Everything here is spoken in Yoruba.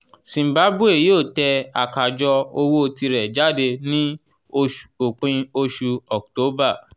zimbabwe yóò tẹ 'àkájọ owó' tirẹ̀ jáde ní òpin oṣù october